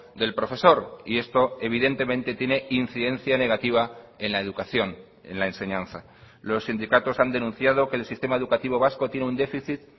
del profesor y esto evidentemente tiene incidencia negativa en la educación en la enseñanza los sindicatos han denunciado que el sistema educativo vasco tiene un déficit